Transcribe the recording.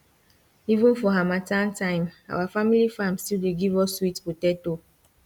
even for harmattan time our family farm still dey give us sweet potato